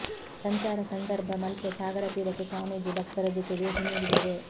ಸಂಚಾರ ಸಂದರ್ಭ ಮಲ್ಪೆ ಸಾಗರತೀರಕ್ಕೆ ಸ್ವಾಮೀಜಿ ಭಕ್ತರ ಜೊತೆ ಭೇಟಿ ನೀಡಿದರು